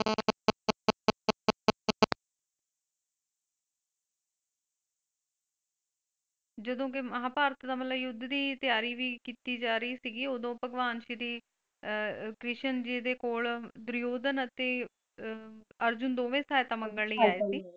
ਜਦੋਂ ਕੀ ਮਹਾਭਾਰਤ ਦਾ ਮਤਲੱਬ ਯੁੱਧ ਦੀ ਤਿਆਰੀ ਵੀ ਕੀਤੀ ਜਾ ਰਹੀ ਸੀ ਉਦੋਂ ਭਗਵਾਨ ਸ਼੍ਰੀ ਆਹ ਕ੍ਰਿਸ਼ਨ ਜੀ ਦੇ ਕੋਲ ਦੁਰਯੋਧਨ ਅਤੇ ਅਹ ਅਰਜੁਨ ਦੋਵੇਂ ਸਹਾਇਤਾ ਮੰਗਣ ਲਈ ਆਏ ਸੀ .